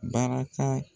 Barika